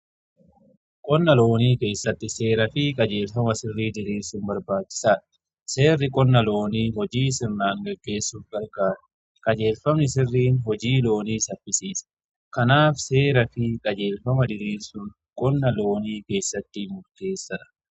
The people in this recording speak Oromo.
qonna loonii keessatti seeraa fi qajeelfama sirrii diriirsun barbaachisaadha seerri qonna loonii hojii sirnaan gaggeessuuf gargaara qajeelfamni sirriin hojii loonii saffisiisa. kanaaf seeraa fi qajeelfama diriirsun qonna loonii keessatti murteessadha.